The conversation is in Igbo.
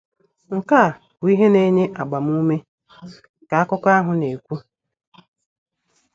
“ Nke a bụ ihe na-enye agbamume, ” ka akụkọ ahụ na - ekwu.